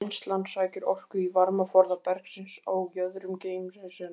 Vinnslan sækir orku í varmaforða bergsins á jöðrum geymisins.